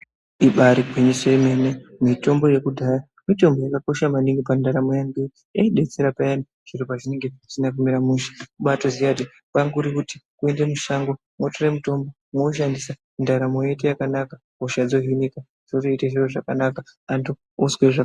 Ibarigwinyiso yemene mitombo yekudhaya yakakosha maningi pandaramo yeantu nekuti yaibetsera payani zviro zvinenge zvisina kumira mushe wobatoziya kuti kwakurikuende mushango wotore mutombo woushandisa ndaramo yoita zvakanaka hosha yohinika.